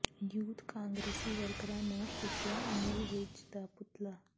youth ਕਾਂਗਰਸੀ ਵਰਕਰਾਂ ਨੇ ਫੂਕਿਆ ਅਨਿਲ ਵਿਜ ਦਾ ਪੁਤਲਾ